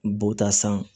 Bɔta san